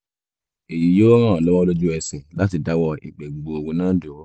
èyí yóò ràn ọ́ lọ́wọ́ lójú ẹsẹ̀ láti dáwọ́ ìgbẹ́ gbuuru náà dúró